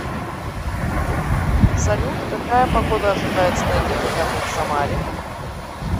салют какая погода ожидается на этих выходных в самаре